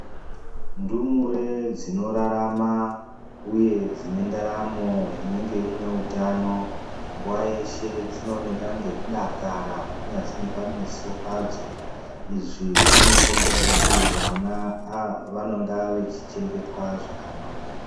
Ndumure dzinorarama uye dzinendaramo inenge iine utano nguwa yeshe dzinooneka ngekudakara kunyazwi nepameso padzo izvi zvinokhombe kuti vana ava vanenge vachichengetwa zvakanaka.